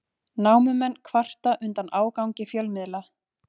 Námumenn kvarta undan ágangi fjölmiðla